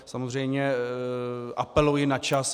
Samozřejmě apeluji na čas.